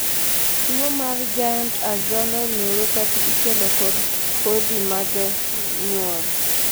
tuo mar Giant axonal neuropathy ikelo kod kodhi mage nyuol